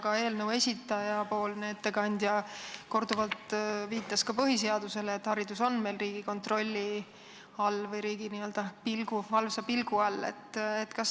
Ka eelnõu esitaja ettekandja viitas korduvalt põhiseadusele, et haridus on meil riigi kontrolli või riigi valvsa pilgu all.